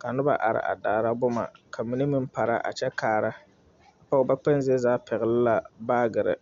ka noba are a daara boma, ka mine meŋ are a pɛgle bawbee.